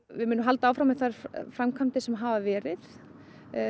við munum halda áfram með þær framkvæmdir sem hafa verið